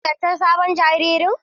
Shin kun ziyarci sabon jariri?